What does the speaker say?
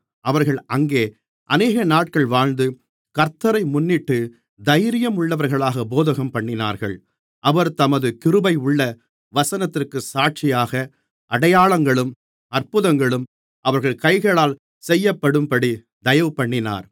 அவர்கள் அங்கே அநேகநாட்கள் வாழ்ந்து கர்த்த்தரை முன்னிட்டுத் தைரியம் உள்ளவர்களாகப் போதகம்பண்ணினார்கள் அவர் தமது கிருபையுள்ள வசனத்திற்கு சாட்சியாக அடையாளங்களும் அற்புதங்களும் அவர்கள் கைகளால் செய்யப்படும்படி தயவுபண்ணினார்